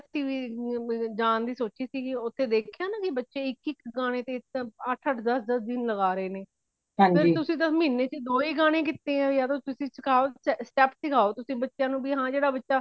ਜਾਨ ਦੀ ਸੋਚੀ ਸੀ ਕੀ ਉਥੇ ਦੇਖਿਆ ਨਾ ਕੇ ਬੱਚੇ ਇਕ ਇਕ ਗਾਣੇ ਤੇ ਅੱਠ ਅੱਠ ਦਿਨ ਲੱਗਾ ਰਹੇ ਨੇ ਫੇਰ ਤੁਸੀਂ ਤੇ ਮਹੀਨੇ ਵਿਚ ਦੋ ਹੀ ਗਾਣੇ ਕੀਤੇ ਏ ਯਾ ਤੇ ਤੁਸੀਂ ਸਿਖਾਓ step ਸਿਖਾਓ ਤੁਸੀਂ ਬੱਚੇ ਨੂੰ ਹਾਂ ਜੇੜਾ ਬਚਾ